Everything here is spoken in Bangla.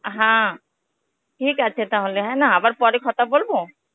হ্যাঁ, ঠিক আছে তাহলে হ্যাঁ না আবার পরে কথা বলবো?